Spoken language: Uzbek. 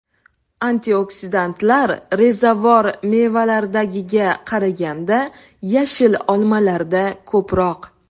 Antioksidantlar rezavor mevalardagiga qaraganda yashil olmalarda ko‘proq.